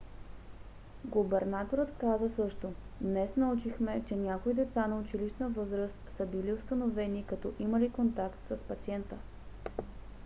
губернаторът каза също: днес научихме че някои деца на училищна възраст са били установени като имали контакт с пациента.